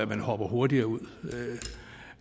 man hopper hurtigere ud